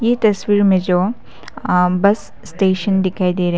तस्वीर जो आ बस स्टेशन दिखाई दे--